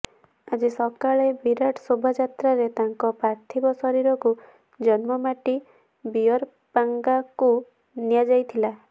ଆଜି ସକାଳେ ବିରାଟ ଶୋଭାଯାତ୍ରାରେ ତାଙ୍କ ପାର୍ଥିବ ଶରୀରକୁ ଜନ୍ମମାଟି ବିଅରପାଙ୍ଗାକୁ ନିଆଯାଇଥିଲା